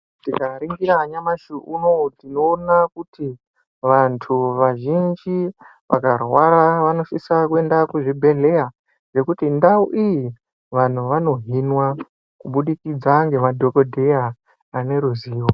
Tikaringira nyamashi unou tinoona kuti vanthu vazhinji vakarwara vanosisa kuenda kuzvibhedhleya nekuti ndau iyi vanhu vanohinwa kubudikidza ngemadhokodheya ane ruzivo.